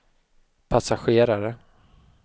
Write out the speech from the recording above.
passagerare